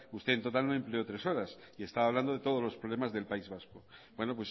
usted en total no empleó tres horas y estaba hablando de todos los problemas del país vasco bueno